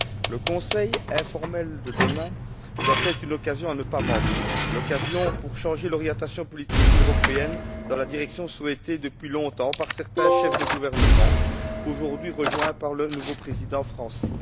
Le Conseil informel de demain doit être une occasion à ne pas manquer, l'occasion de réorienter la politique européenne dans la direction souhaitée depuis longtemps par certains chefs de gouvernement, aujourd'hui rejoints par le nouveau président français.